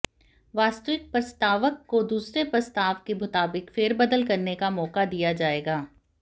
वास्तविक प्रस्तावक को दूसरे प्रस्ताव के मुताबिक फेरबदल करने का मौका दिया जाएगा